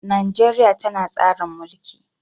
Najeriya tana tsarin mulki